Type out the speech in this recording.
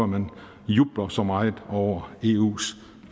man jubler så meget over eus